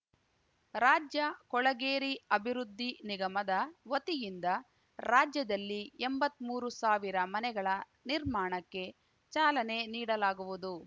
ರಾಜ್ಯ ಕೊಳೆಗೇರಿ ಅಭಿವೃದ್ಧಿ ನಿಗಮದ ವತಿಯಿಂದ ರಾಜ್ಯದಲ್ಲಿ ಎಂಬತ್ಮೂರು ಸಾವಿರ ಮನೆಗಳ ನಿರ್ಮಾಣಕ್ಕೆ ಚಾಲನೆ ನೀಡಲಾಗುವುದು